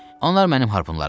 Onlar mənim harpunlarımdır.